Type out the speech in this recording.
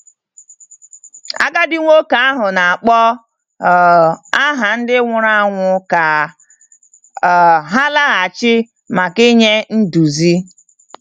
Agadi nwoke ahụ na-akpọ um aha ndị nwụrụ anwụ ka um ha laghachi màkà inye nduzi.